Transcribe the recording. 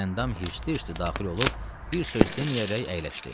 Gülandam hirslə-hirslə daxil olub, bir söz deməyərək əyləşdi.